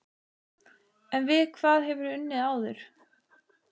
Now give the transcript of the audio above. En við hvað hefurðu unnið áður?